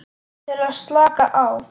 Til að slaka á.